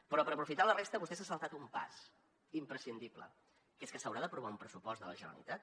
però per aprofitar la resta vostè s’ha saltat un pas imprescindible que és que s’haurà d’aprovar un pressupost de la generalitat